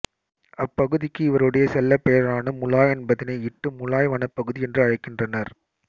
அப்பகுதிக்கு இவருடைய செல்லப்பெயரான முலாய் என்பதினை இட்டு முலாய் வனப்பகுதி என்று அழைக்கின்றனர்